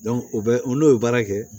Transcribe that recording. o bɛ o n'o ye baara kɛ